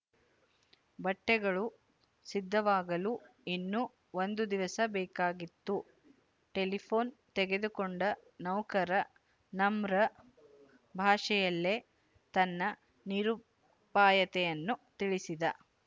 ಬಟ್ಟೆಗಳು ಸಿದ್ಧವಾಗಲು ಇನ್ನೂ ಒಂದು ದಿವಸ ಬೇಕಾಗಿತ್ತು ಟೆಲಿಫೋನ್ ತೆಗೆದುಕೊಂಡ ನೌಕರ ನಮ್ರ ಭಾಷೆಯಲ್ಲೇ ತನ್ನ ನಿರುಪಾಯತೆಯನ್ನು ತಿಳಿಸಿದ